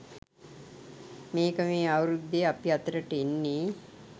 මේක මේ අවුරුද්දේ අපි අතරට එන්නේ